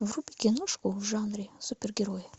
вруби киношку в жанре супергерои